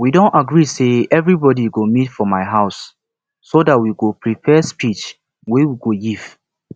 we don agree say everybody go meet for my house so dat we go prepare speech wey we go give